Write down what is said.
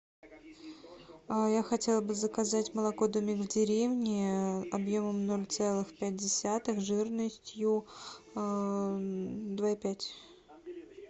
я хотела бы заказать молоко домик в деревне объемом ноль целых пять десятых жирностью два и пять